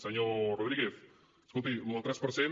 senyor rodríguez escolti això del tres per cent